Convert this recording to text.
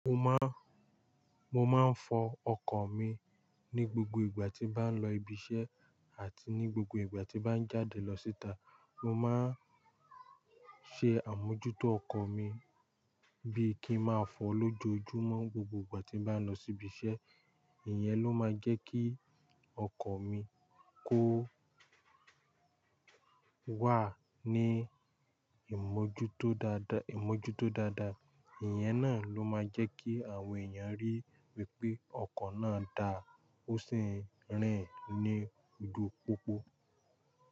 Mo má, mo máa ń fọ ọkọ̀ mi ní gbogbo ìgbà tí n bá ń lọ ibiṣẹ́ àti ní gbogbo ìgbà tí bá ń jáde lọ síta. Mo máa ń ṣe àmójútó ọkọ̀ mi bí i kí n máa fọ lójoojúmọ́ gbogbo ìgbà tí bá ń lọ sí ibiṣẹ́. Ìyẹn ló máa ń jẹ́ kí ọkọ̀ mi kó wà ní ìmójútó dáadáa, ìmójútó dáadáa. Ìyẹn náà ló máa jẹ́ kí àwọn èèyàn ríi wípé ọkọ̀ náà dá ó sì ń rìn ní ojúu pópó.